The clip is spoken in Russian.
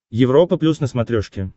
европа плюс на смотрешке